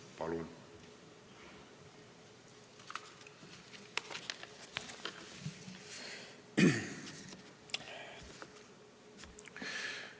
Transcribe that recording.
Palun!